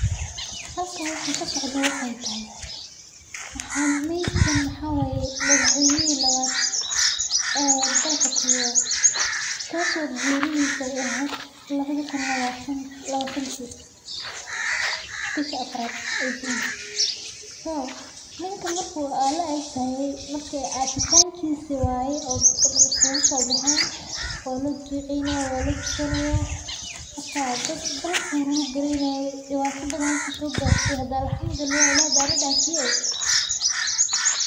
Halkani waxaa kasocda waxeey tahay needkan waxaa waye madax weynaha labaad dalka kenya ninka marka ka aasaye dadka dan ayaa iskugu soo bexeen dibata badan ayuu dalka soo garsiye.